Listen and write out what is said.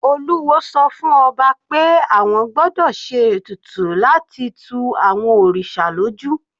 Olúwo sọ fún ọba pé àwọn gbọ́dọ̀ se ètùtù láti tu àwọn òrìṣà lójú.